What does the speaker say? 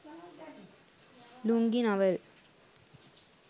lungi navel